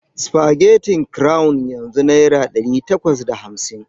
Supagetin kurawun yanzu naira dari takwas da hamsin.